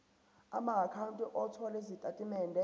amaakhawunti othola izitatimende